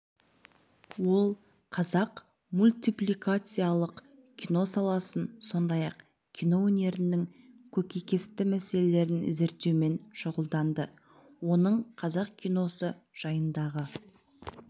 ол қазақ мультипликациялық кино саласын сондай-ақ кино өнерінің көкейкесті мәселелерін зерттеумен шұғылданды оның қазақ киносы жайындағы